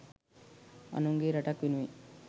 අනුන්ගේ රටක් වෙනුවෙන්